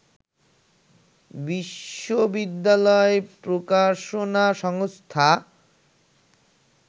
বিশ্ববিদ্যালয় প্রকাশনা সংস্থা